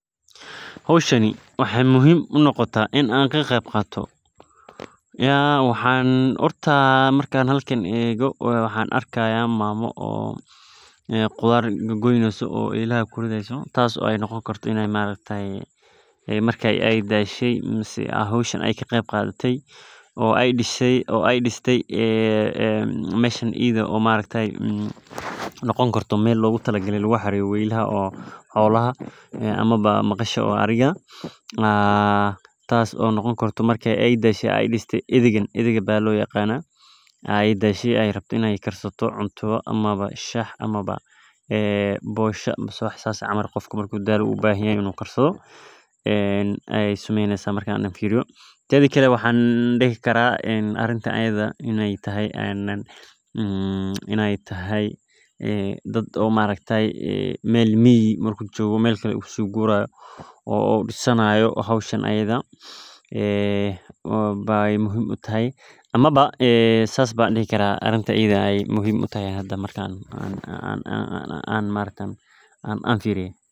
Hoshan waxaa muhiim unoqata in aa ka qeb qato waxan horta waxan arki haya mama qudhar gagoyni haso oo marka noqoni kaeto cunto ama bosha wax sas ee sameyni haso tedhi kale maxaa dihi karaa dad meel miga marku jogo amawa ee muhiim utahay arintan iyada marki an firiye sas ayey muhiim u noqote sas ayan arki haya.